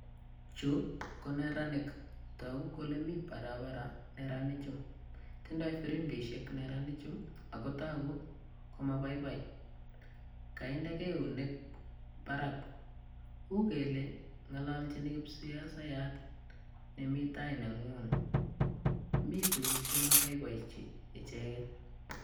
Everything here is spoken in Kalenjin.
Chu ko neranik. Togu kole mi barabara neranichu. Tindoi pirimbishek ak kotogu ko moboiboi. Kainde keunek barak. Uu kele ng'aloljin kipsiasayat nemi taining'ung'. Mi tuguk che moboibochi icheget.